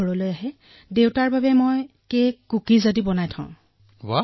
দেউতা অহাৰ পিছত মই তেওঁলৈ কুকীজ আৰু কেক বনাও